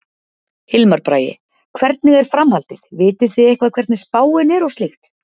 Hilmar Bragi: Hvernig er framhaldið, vitið þið eitthvað hvernig spáin er og slíkt?